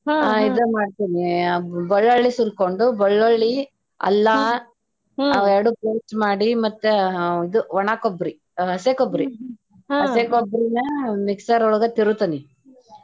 ಆ ಇದನ್ನ ಹಾಕತೇನ ಬಳ್ಳೊಳ್ಳಿ ಸುಲಕೊಂಡ ಬಳ್ಳೊಳ್ಳಿ ಅಲ್ಲಾ ಅವೆರಡು paste ಮಾಡಿ ಮತ್ತ ಇದು ಒಣ ಕೊಬ್ಬರಿ ಹಸಿ ಕೊಬ್ಬರಿ ಹಸಿ ಕೊಬ್ಬರಿನ ಮಿಕ್ಸರ್ ಒಳಗ ತಿರುತೆನಿ.